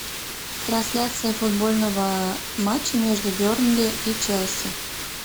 трансляция футбольного матча между бернли и челси